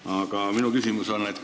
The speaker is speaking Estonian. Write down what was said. Aga minu küsimus on see.